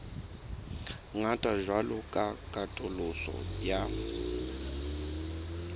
ngata jwalo ka katoloso ya